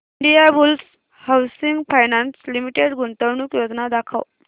Indiabulls housing finance limited गुंतवणूक योजना दाखव